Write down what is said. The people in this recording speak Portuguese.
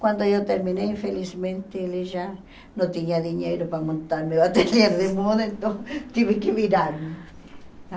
Quando eu terminei, infelizmente, ele já não tinha dinheiro para montar meu ateliê de moda, então tive que virar.